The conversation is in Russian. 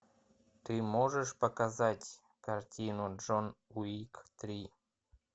ты можешь показать картину джон уик три